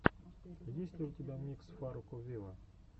есть ли у тебя микс фарруко виво